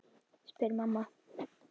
spurði mamma.